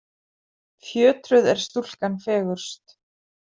Fjötruð er stúlkan fegurst.